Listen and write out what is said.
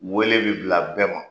Wele bi bila bɛɛ ma